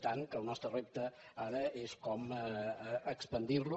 tant que el nostre repte ara és com expandir lo